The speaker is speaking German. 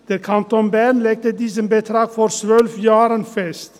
Der Kanton Bern legte diesen Betrag vor 12 Jahren fest.